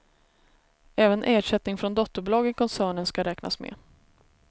Även ersättning från dotterbolag i koncernen ska räknas med.